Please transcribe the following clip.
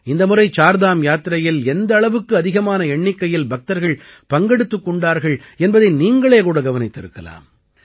இந்த முறை சார்தாம் யாத்திரையில் எந்த அளவுக்கு அதிகமான எண்ணிக்கையில் பக்தர்கள் பங்கெடுத்துக் கொண்டார்கள் என்பதை நீங்களே கூட கவனித்திருக்கலாம்